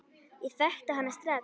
Ég þekkti hana strax.